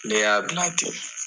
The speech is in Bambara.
Ne y'a bila ten.